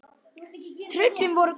Tröllin voru glöð.